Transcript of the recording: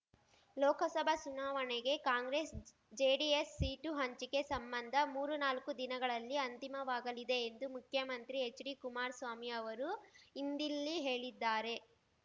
ಲೋಕಸಭಾ ಸುನಾವಣೆಗೆ ಕಾಂಗ್ರೆಸ್ ಜೆಡಿಎಸ್ ಸೀಟು ಹಂಚಿಕೆ ಸಂಬಂಧ ಮೂರು ನಾಲ್ಕು ದಿನಗಳಲ್ಲಿ ಅಂತಿಮವಾಗಲಿದೆ ಎಂದು ಮುಖ್ಯಮಂತ್ರಿ ಹೆಚ್ಡಿ ಕುಮಾರ್ ಸ್ವಾಮಿ ಅವರು ಇಂದಿಲ್ಲಿ ಹೇಳಿದ್ದಾರೆ